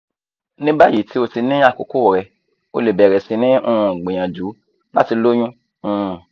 ní báyìí tí o ti ní àkókò rẹ o lè bẹ̀rẹ̀ sí ní um gbìyànjú láti lóyún um